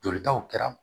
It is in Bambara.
Jolitaw kɛra